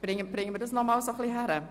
Bringen wir das noch einmal fertig?